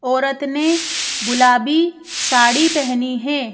औरत ने गुलाबी साड़ी पहनी हैं।